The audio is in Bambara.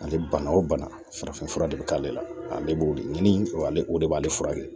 Ale bana o bana farafin fura de bɛ k'ale la ale b'o de ɲini o ale de b'ale furakɛ